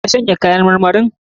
Ka shanya kayan marmarin?